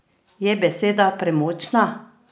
Je beseda premočna?